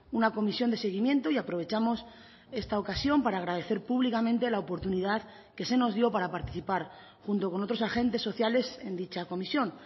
una comisión de seguimiento y aprovechamos esta ocasión para agradecer públicamente la oportunidad que se nos dio para participar junto con otros agentes sociales en dicha comisión